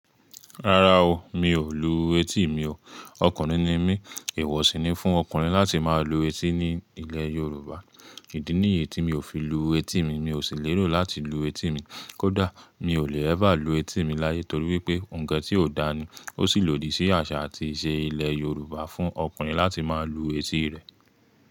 Rárá o, mi ò lu etí mi o. Ọkùnrin ni mí, èwọ̀ sì ni fún ọkùnrin láti máa lu etí ní ilẹ̀ Yorùbá. Ìdí nìyí tí mi ò fi lu etí mi, mi ò sì lérò láti lu etí mi. Kódà mi ò lè ever lu etí mi láyé torí wípé ǹkan tí ò dáa ni. Ó sì lòdì sí àṣà àti ìṣe ilẹ̀ Yorùbá fún ọkùnrin láti máa lu etí rẹ̀.